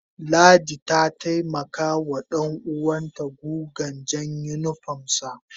Ladidi ta taimaka wa danuwan ta guga jan unipom sa